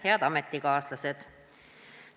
Head ametikaaslased!